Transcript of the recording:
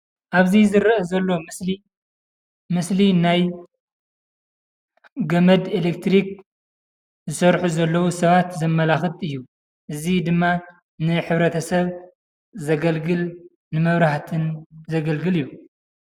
ኣብዚ ዝርአ ዘሎ ምስሊ ምስሊ ናይ ገመድ ኤሌክትሪክ ዝሰርሑ ዘለዉ ሰባት ዘመላኽት እዩ። እዚ ድማ ንሕብረተሰብ ዘገልግል ንመብራህትን ዘገልግል እዩ።